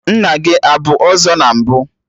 Nna gị abụ ọzọ na mbụ?